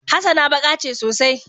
hassana baka ce sosai